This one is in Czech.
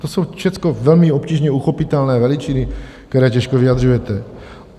To jsou všechno velmi obtížně uchopitelné veličiny, které těžko vyjadřujete.